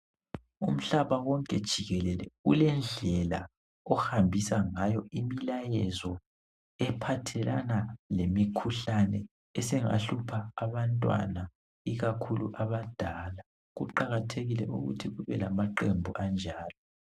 Umhlaba wonke jikelele ulendlela ohambisa ngayo imlayezo ephathelana lemikhuhlane esingahlupha abantwana ikakhulu abadala. Kuqakathekile ukuthi kube lamaqembu anjalo.